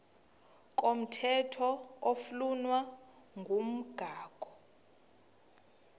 komthetho oflunwa ngumgago